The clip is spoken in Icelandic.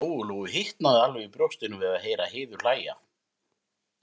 Lóu-Lóu hitnaði alveg í brjóstinu við að heyra Heiðu hlæja.